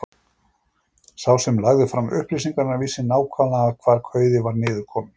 Sá sem lagði fram upplýsingarnar vissi nákvæmlega hvar kauði var niðurkominn.